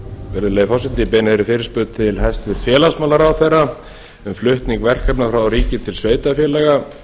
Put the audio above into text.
virðulegi forseti ég beini þeirri fyrirspurn til hæstvirts félagsmálaráðherra um flutning verkefna frá ríki til sveitarfélaga